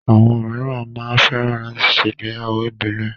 Àwọn míràn máa ń fẹ́ran láti ṣe ìgbéyàwó ìbílẹ̀